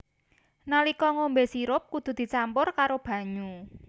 Nalika ngombé sirup kudu dicampur karo banyu